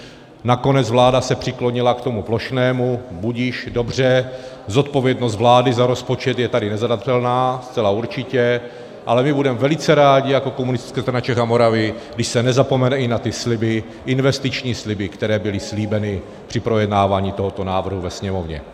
Nakonec vláda se přiklonila k tomu plošnému, budiž, dobře, zodpovědnost vlády za rozpočet je tady nezadatelná, zcela určitě, ale my budeme velice rádi jako Komunistická strana Čech a Moravy, když se nezapomene i na ty sliby, investiční sliby, které byly slíbeny při projednávání tohoto návrhu ve Sněmovně.